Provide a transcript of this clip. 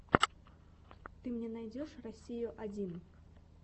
ты мне найдешь россию один